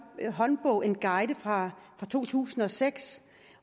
håndbog en guide fra to tusind og seks